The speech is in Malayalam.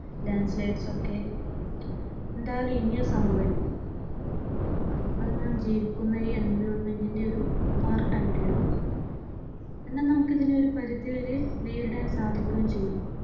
Landscape ഒക്കെ എന്തായാലുംഇനിയും സംഭവിക്കും. അതു നാം ജീവിക്കുന്ന ഈ environment ന്റെ ഒരു പാർട്ട് ആയിട്ട് വരും എന്നാൽ നമുക്ക് ഇതിനെ ഒരു പരിധിവരെ നേരിടാൻ സാധിക്കുകയും ചെയ്യും.